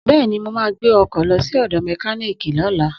Bẹ́ẹ̀ni, mo ma gbẹ́ ọkọ̀ lọ sí ọ̀dọ̀ mẹkíníìkì lọ́la